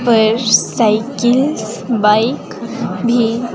पर cycles bike भी--